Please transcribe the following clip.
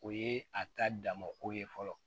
O ye a ta damako ye fɔlɔ